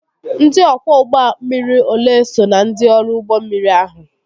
Ndị ọkwọ ụgbọ mmiri olee so na ndị ọrụ ụgbọ mmiri ahụ?